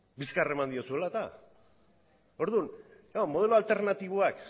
bizkar eman diozuela eta orduan modelo alternatiboak